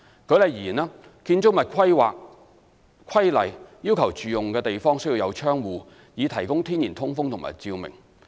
舉例而言，《建築物規例》要求住用地方需有窗戶，以提供天然通風及照明。